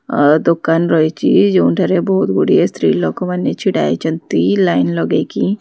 ଆଁ ଦୋକାନ ରହିଛି ଯୋଉଁଠାରେ ବହୁତ୍ ଗୁଡ଼ିଏ ସ୍ତ୍ରୀ ଲୋକ ମାନେ ଛିଡାହୋଇଛନ୍ତି ଲାଇନ ଲଗେଇକି।